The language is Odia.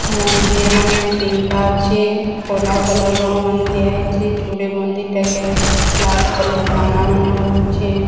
ମନ୍ଦିର୍ ମାନେ ତିନ୍ ଟା ଅଛି କଲା କଲର୍ ରଙ୍ଗ୍ ମାନେ ଦିଆ ହେଇଚି ଯୋଡ଼େ ମନ୍ଦିର ଟାକେ ଲାଲ୍ କଲର୍ ବାନା ମାନେ ଉଡୁଛେ।